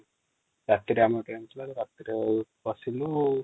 ରାତିରେ ଆମ ଟ୍ରେନ ଥିଲା |